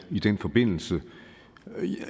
i den forbindelse